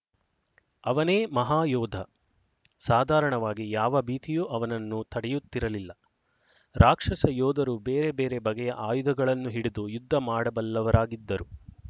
ಅವನೇ ಮಹಾಯೋಧ ಸಾಧಾರಣವಾಗಿ ಯಾವ ಭೀತಿಯೂ ಅವನನ್ನು ತಡೆಯುತ್ತಿರಲಿಲ್ಲ ರಾಕ್ಷಸ ಯೋಧರು ಬೇರೆ ಬೇರೆ ಬಗೆಯ ಆಯುಧಗಳನ್ನು ಹಿಡಿದು ಯುದ್ಧ ಮಾಡಬಲ್ಲವರಾಗಿದ್ದರು